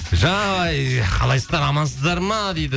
жай қалайсыздар амансыздар ма дейді